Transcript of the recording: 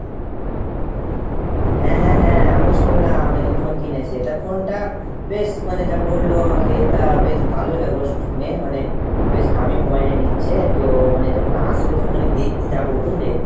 হ্যাঁ হ্যাঁ হ্যাঁ। আমুও শুনলাম নাকি phone কিনেছে। তা phone টা বেশ মানে যা বললো আমাকে তা বেশ ভালোই লাগলো শুনে। মানে বেশ দামী mobile ই নিচ্ছে। তো মানে যখন আসবে তখন আমি দেখতে যাবো বুঝলে ?